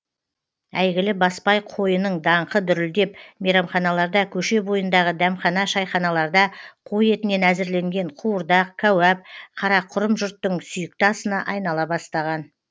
әйгілі баспай қойының даңқы дүрілдеп мейрамханаларда көше бойындағы дәмхана шайханаларда қой етінен әзірленген қуырдақ кәуап қарақұрым жұртың сүйікті асына айнала бастаған